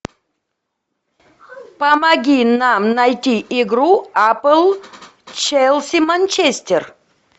помоги нам найти игру апл челси манчестер